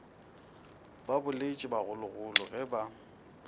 ba boletše bagologolo ge ba